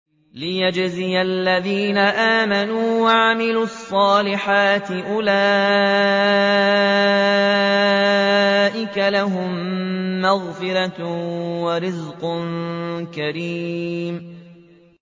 لِّيَجْزِيَ الَّذِينَ آمَنُوا وَعَمِلُوا الصَّالِحَاتِ ۚ أُولَٰئِكَ لَهُم مَّغْفِرَةٌ وَرِزْقٌ كَرِيمٌ